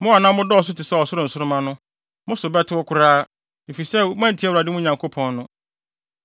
Mo a na modɔɔso te sɛ ɔsoro nsoromma no, mo so bɛtew koraa, efisɛ moantie Awurade, mo Nyankopɔn no.